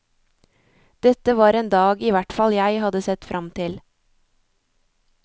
Dette var en dag ihvertfall jeg hadde sett fram til.